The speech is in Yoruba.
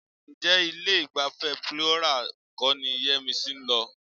Ǹjẹ́ ilé-ìgbafẹ́ Plethora kọ́ ni Yẹ́misí ń lọ?